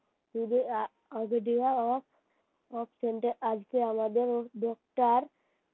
আজকে আমাদের doctor